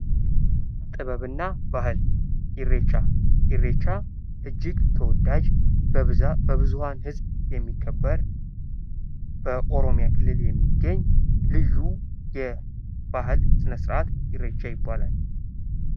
ጥበብና ባህል ፦ ኢሬቻ ፦ ኢሬቻ እጅግ ተወዳጅ ፣ በብዙሀን ህዝብ የሚከበር ፣ በኦሮሚያ ክልል የሚገኝ ልዩ የበዓል ስነስርዓት ኢሬቻ ይባላል ።